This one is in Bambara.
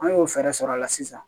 An y'o fɛɛrɛ sɔrɔ a la sisan